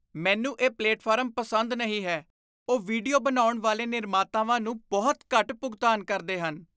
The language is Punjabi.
ਮੈਨੂੰ ਇਹ ਪਲੇਟਫਾਰਮ ਪਸੰਦ ਨਹੀਂ ਹੈ। ਉਹ ਵੀਡੀਓ ਬਣਾਉਣ ਵਾਲੇ ਨਿਰਮਾਤਾਵਾਂ ਨੂੰ ਬਹੁਤ ਘੱਟ ਭੁਗਤਾਨ ਕਰਦੇ ਹਨ।